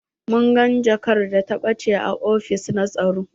Mun gan jakar da ta ɓache a ofis na tsaro.